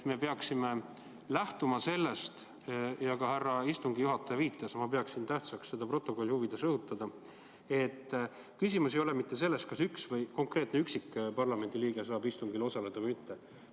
Me peaksime lähtuma sellest – ka härra istungi juhataja viitas sellele ja ma pean tähtsaks seda stenogrammi huvides rõhutada –, et küsimus ei ole mitte selles, kas mõni konkreetne parlamendiliige saab istungil osaleda või mitte.